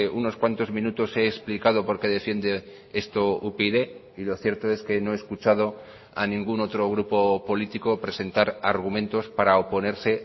unos cuantos minutos he explicado por qué defiende esto upyd y lo cierto es que no he escuchado a ningún otro grupo político presentar argumentos para oponerse